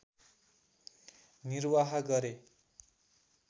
निर्वाह गरे